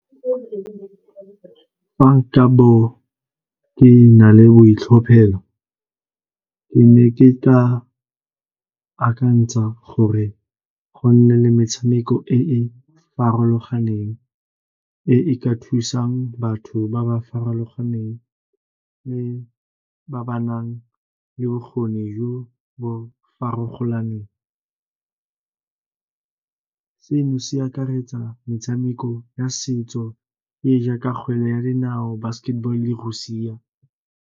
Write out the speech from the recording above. Fa nka bo ke na le boitlhophelo, ke ne ke tla akantsha gore go nne le metshameko e e farologaneng e e ka thusang batho ba ba farologaneng le ba ba nang le bokgoni jo bo . Seno se akaretsa metshameko ya setso e jaaka kgwele ya dinao, basketball-o, le go siana.